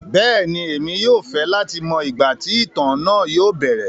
Bẹẹni, emi yóò fẹ lati mọ igba ti itan naa yóò bẹrẹ.